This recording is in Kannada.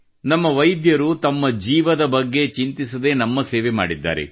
ನಮ್ಮ ವೈದ್ಯರು ತಮ್ಮ ಜೀವನದ ಬಗ್ಗೆ ಚಿಂತಿಸದೆ ನಮ್ಮ ಸೇವೆ ಮಾಡಿದ್ದಾರೆ